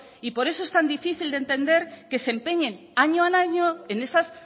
y por eso es tan difícil de entender que se empeñen año a año en esas